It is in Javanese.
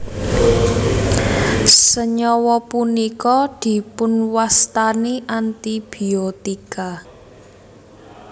Senyawa punika dipunwastani antibiotika